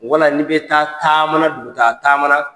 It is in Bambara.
Wala n'i bɛ taa dugutaa taama na.